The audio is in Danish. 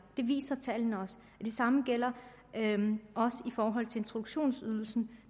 det viser tallene også det samme gælder også i forhold til introduktionsydelsen